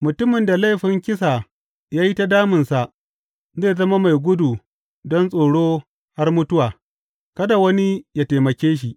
Mutumin da laifin kisa ya yi ta damunsa zai zama mai gudu don tsoro har mutuwa; kada wani ya taimake shi.